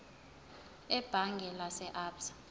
ebhange lase absa